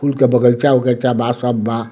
फूल के बगइचा-उगईचा बा सब बा।